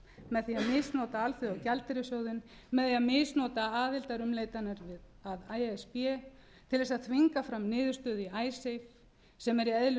með því að misnota alþjóðagjaldeyrissjóðinn með því að misnota aðildarumleitanir að e s b til þess að þvinga fram niðurstöðu í icesave sem er í eðli